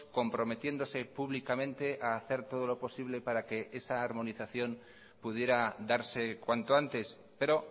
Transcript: comprometiéndose públicamente a hacer todo lo posible para que esa armonización pudiera darse cuanto antes pero